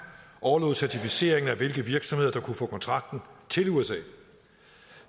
overlod certificeringen af hvilke virksomheder der kunne få kontrakten til usa